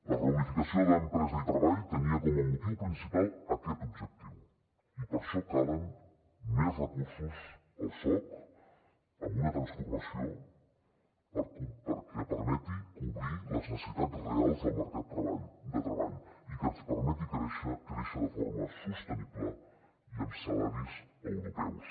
la reunificació d’empresa i treball tenia com a motiu principal aquest objectiu i per això calen més recursos al soc amb una transformació perquè permeti cobrir les necessitats reals del mercat de treball i que ens permeti créixer de forma sostenible i amb salaris europeus